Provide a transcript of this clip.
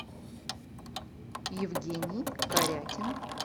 евгений корякин